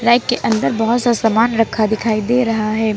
Rack के अंदर बहुत सा सामान रखा दिखाई दे रहा है।